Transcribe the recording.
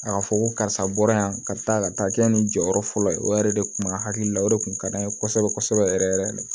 A ka fɔ ko karisa bɔra yan ka taa ka taa kɛ nin jɔyɔrɔ fɔlɔ ye o yɛrɛ de tun b'a hakili la o de kun ka d'an ye kosɛbɛ kosɛbɛ yɛrɛ yɛrɛ de